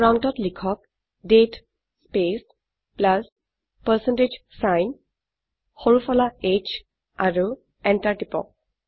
প্ৰম্পটত লিখক দাঁতে স্পেচ প্লাছ পাৰচেণ্টেজ ছাইন সৰু ফলা h আৰু এন্টাৰ টিপক